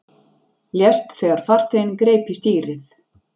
Lést þegar farþeginn greip í stýrið